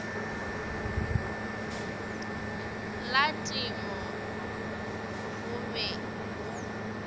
la temo go be go